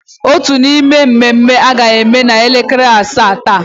Otu n'ime mmemme a ga-eme n'elekere asaa taa.